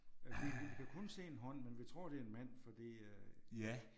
Vi vi kan kun se en hånd men vi tror det er en mand fordi øh